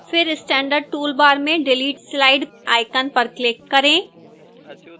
फिर standard toolbar में delete slide icon पर click करें